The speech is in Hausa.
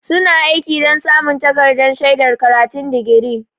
Suna aiki don samun takardar shaidar karatun digiri.